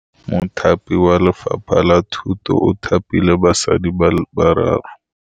Mothapi wa Lefapha la Thutô o thapile basadi ba ba raro.